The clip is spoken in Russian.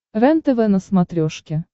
рентв на смотрешке